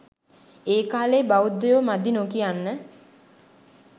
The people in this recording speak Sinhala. ඒකාලේ බෞද්ධයෝ මදි නොකියන්න